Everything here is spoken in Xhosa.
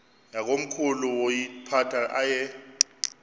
yakomkhulu woyiphatha aye